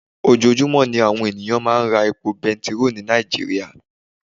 Ojoojúmọ́ ní àwọn ènìyàn máa ń ra epo bẹntiróò ní Nàìjíríà.